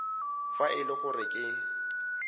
fa e le gore ke